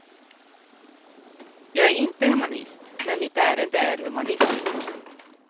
Jag är inte humanist, men mitt ärende är humanistiskt.